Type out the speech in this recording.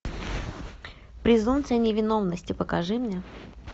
презумпция невиновности покажи мне